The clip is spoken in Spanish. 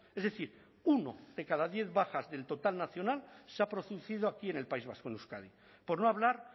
es decir uno de cada diez bajas del total nacional se ha producido aquí en el país vasco en euskadi por no hablar